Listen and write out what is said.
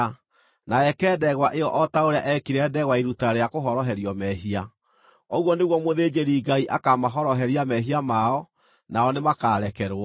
na eke ndegwa ĩyo o ta ũrĩa eekire ndegwa ya iruta rĩa kũhoroherio mehia. Ũguo nĩguo mũthĩnjĩri-Ngai akamahoroheria mehia mao, nao nĩmakarekerwo.